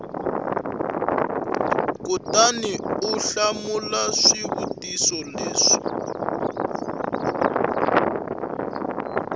kutani u hlamula swivutiso leswi